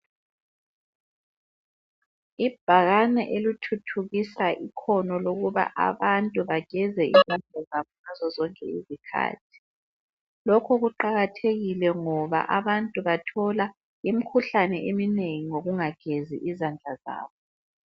Ibhakane elithuthukisa ikhono lokuba abantu bageze izandla zabo ngazozonke izikhathi. Lokhu kuqakathekile ngoba abantu bathola imikhuhlane eminengi ngokungagezi izandla zabo.